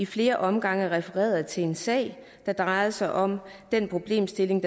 flere omgange refereret til en sag der drejede sig om den problemstilling